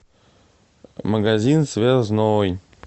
магазин связной